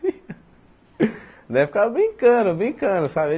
Nós ficava brincando, brincando, sabe?